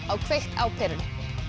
á kveikt á perunni